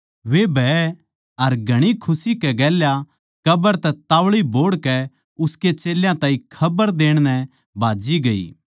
वे भय अर घणी खुशी कै गेल्या कब्र तै तोळी बोहड़कै उसके चेल्यां ताहीं खबर देण नै भाज्जी गई